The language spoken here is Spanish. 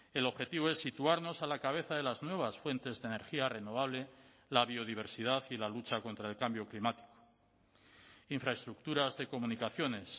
el objetivo es situarnos a la cabeza de las nuevas fuentes de energía renovable la biodiversidad y la lucha contra el cambio climático infraestructuras de comunicaciones